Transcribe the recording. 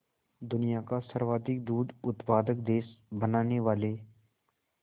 दुनिया का सर्वाधिक दूध उत्पादक देश बनाने वाले